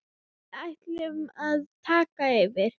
Við ætlum að taka yfir.